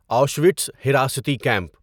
Auschwitz حراستی camp